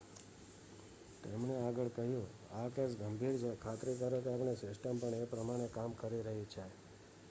"તેમણે આગળ કહ્યું "આ કેસ ગંભીર છે. ખાતરી કરો કે આપણી સિસ્ટમ પણ તે પ્રમાણે કામ કરી રહી છે.""